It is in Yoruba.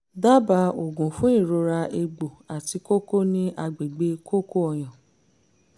dábàá oògùn fún ìrora egbò àti kókó ní agbègbè kókó ọyàn